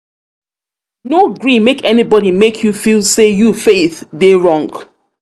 no gree make anybody make you feel um sey you faith dey wrong.